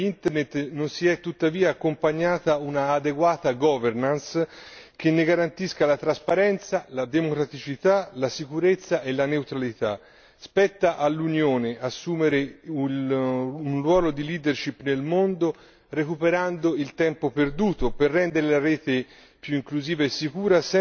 Alla crescente importanza di Internet non si è, tuttavia, accompagnata un'adeguata governance, che ne garantisca la trasparenza, la democraticità, la sicurezza e la neutralità. Spetta all'Unione assumere un ruolo di leadership nel mondo, recuperando il tempo perduto, per rendere la rete